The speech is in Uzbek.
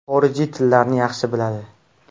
Xorijiy tillarni yaxshi biladi.